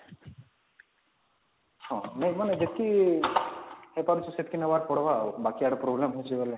ହଁ ନାଇଁ ମାନେ ଯେତିକି ହେଇପାରୁଛି ସେତିକି ନବାର ପଡ଼ବା ବାକି ଆଡେ problem ହଉଛି ବେଲେ